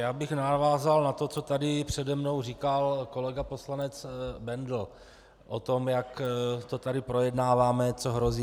Já bych navázal na to, co tady přede mnou říkal kolega poslanec Bendl o tom, jak to tady projednáváme, co hrozí.